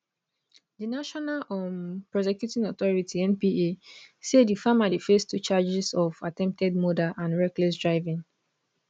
di national um prosecuting authority npa say di farmer dey face two charges of attempted murder and reckless driving